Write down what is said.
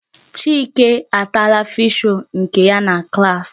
Chike ataala fish-roll nke ya na klaasị.